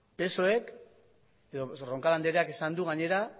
roncal andreak esan du gainera